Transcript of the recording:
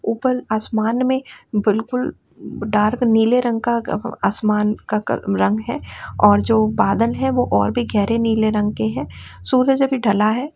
ऊपल आसमान में बिलकुल डार्क नीले रंग का आसमान का रंग है और जो बादल है वो और भी गहरे नीले रंग के है सूरज अभी ढला है।